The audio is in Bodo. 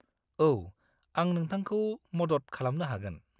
औ, आं नोंथांखौ मदद खालामनो हागोन।